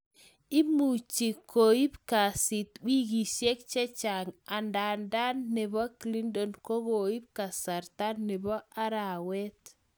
Imuche koib kesit wikishek chechang anadan nebo Clinton kokiib kasarta nebo arawet